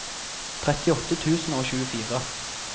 trettiåtte tusen og tjuefire